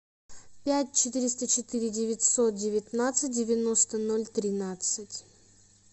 пять четыреста четыре девятьсот девятнадцать девяносто ноль тринадцать